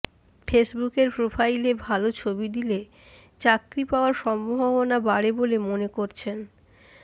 ফেসবুকের প্রোফাইলে ভালো ছবি দিলে চাকরি পাওয়ার সম্ভাবনা বাড়ে বলে মনে করছেন